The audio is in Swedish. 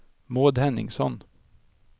Maud Henningsson